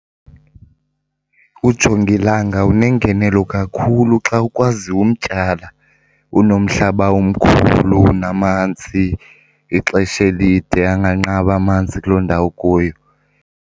Ujongilanga unengenelo kakhulu xa ukwazi umtyala, unomhlaba omkhulu, unamanzi ixesha elide, anganqabi amanzi kuloo ndawo ukuyo.